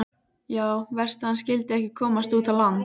Já, verst að hann skyldi ekki komast út á land.